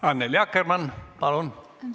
Annely Akkermann, palun!